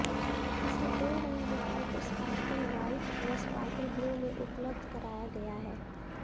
इसे दो रंग विकल्प स्पार्कल वाइट व स्पार्कल ब्लू में उपलब्ध कराया गया है